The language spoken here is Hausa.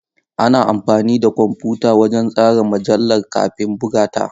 Ana amfani da kwamfuta wajen tsara mujallar kafin buga ta.